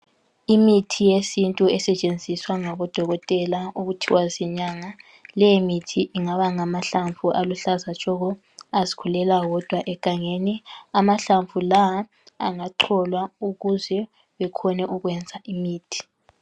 Imithi yesintu esetshenziswa ngabodokotela okuthiwa zinyanga. Leyi mithi ingaba ngahlamvu aluhlaza tshoko azikhulela wodwa egangeni. Lawa amahlamvu lawa angacolwa ukuze ekwanise ukwenza imithi.